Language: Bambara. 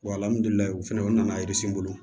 fɛnɛ o nana n bolo